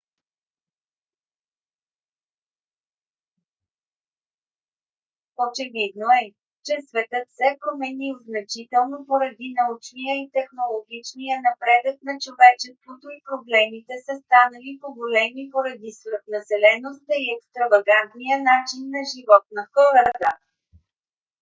очевидно е че светът се е променил значително поради научния и технологичния напредък на човечеството и проблемите са станали по-големи поради свръхнаселеността и екстравагантния начин на живот на хората